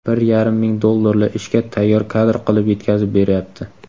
bir yarim ming dollarli ishga tayyor kadr qilib yetkazib beryapti.